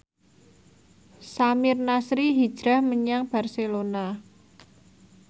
Samir Nasri hijrah menyang Barcelona